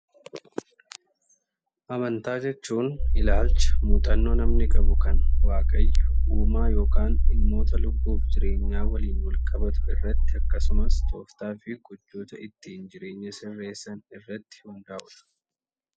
Amantaa jechuun ilaalcha muuxannoo namni qabu kan waaqayyo uumaa yookan dhimmoota lubbuuf jireenyaa waliin walqabatu irratti akkasumas tooftaa fi gochoota ittiin jireenya sirreessan irratti hundaa'udha.